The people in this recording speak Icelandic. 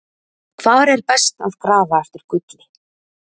Hvar er best að grafa eftir gulli?